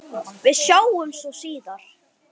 Við sjáumst svo síðar.